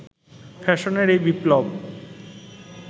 ফ্যাশনের এই বিপ্লব